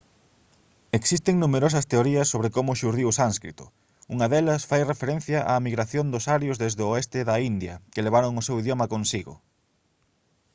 existen numerosas teorías sobre como xurdiu o sánscrito unha delas fai referencia á migración dos arios desde o oeste da india que levaron o seu idioma consigo